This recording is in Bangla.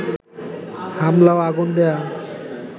হামলা ও আগুন দেয়া